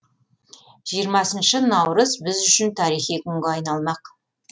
жиырмасыншы наурыз біз үшін тарихи күнге айналмақ